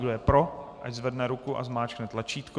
Kdo je pro, ať zvedne ruku a zmáčkne tlačítko.